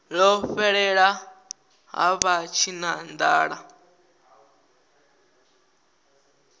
ḽo fhelela ha vha tshinanḓala